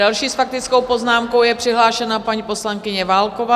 Další s faktickou poznámkou je přihlášena paní poslankyně Válková.